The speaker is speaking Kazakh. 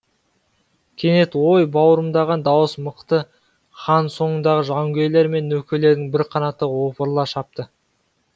кенет ой бауырымдаған дауыс мықты хан соңындағы жауынгерлер мен нөкерлерінің бір қанаты опырыла шапты